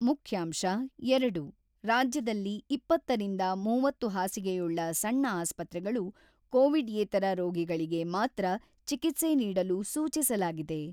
ಮುಖ್ಯಾಂಶ-ಎರಡು ರಾಜ್ಯದಲ್ಲಿ ಇಪ್ಪತ್ತ ರಿಂದ ಮೂವತ್ತು ಹಾಸಿಗೆಯುಳ್ಳ ಸಣ್ಣ ಆಸ್ಪತ್ರೆಗಳು ಕೋವಿಡ್‌ಯೇತರ ರೋಗಗಳಿಗೆ ಮಾತ್ರ ಚಿಕಿತ್ಸೆ ನೀಡಲು ಸೂಚಿಸಲಾಗಿದೆ.